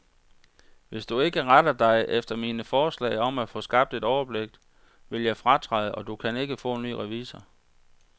Hvis du ikke retter dig efter mine forslag om at få skabt et overblik, vil jeg fratræde, og du kan ikke få en ny revisor.